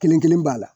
Kelen kelen b'a la